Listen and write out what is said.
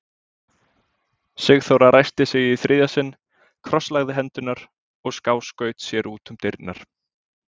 Sigþóra ræskti sig í þriðja sinn, krosslagði hendurnar og skáskaut sér út um dyrnar.